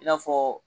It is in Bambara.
I n'a fɔ